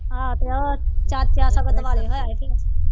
ਤੇ ਉਹ ਚਾਚਾ ਸਗੋਂ